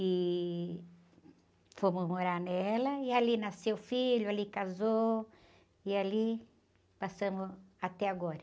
E fomos morar nela, e ali nasceu filho, ali casou, e ali passamos até agora.